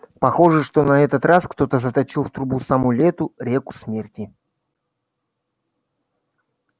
похоже что на этот раз кто-то заточил в трубы саму лету реку смерти